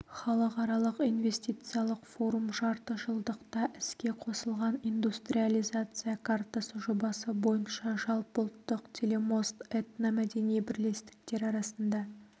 халықаралық инвестициялық форум жарты жылдықта іске қосылған индустриализация картасы жобасы бойынша жалпыұлттық телемост этномәдени бірлестіктер арасында